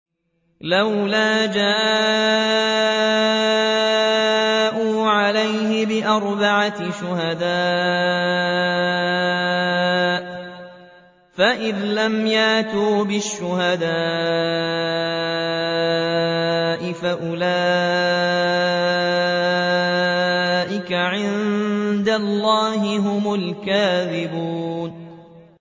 لَّوْلَا جَاءُوا عَلَيْهِ بِأَرْبَعَةِ شُهَدَاءَ ۚ فَإِذْ لَمْ يَأْتُوا بِالشُّهَدَاءِ فَأُولَٰئِكَ عِندَ اللَّهِ هُمُ الْكَاذِبُونَ